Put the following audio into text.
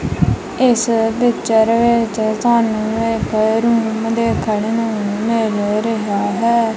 ਇੱਸ ਪਿਕਚਰ ਵਿੱਚ ਸਾਨੂੰ ਇੱਕ ਰੂਮ ਦੇਖਣ ਨੂੰ ਮਿਲ ਰਿਹਾ ਹੈ।